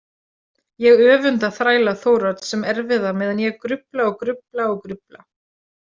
Ég öfunda þræla Þórodds sem erfiða meðan ég grufla og grufla og grufla.